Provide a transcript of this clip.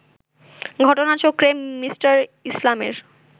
ঘটনাচক্রে, মি. ইসলামের